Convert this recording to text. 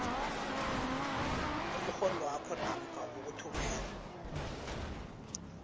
umrholwakho namkha ukuthumela